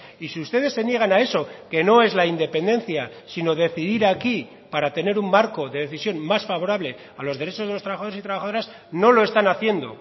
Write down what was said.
y si ustedes se niegan a eso que no es la independencia sino decidir aquí para tener un marco de decisión más favorable a los derechos de los trabajadores y trabajadoras no lo están haciendo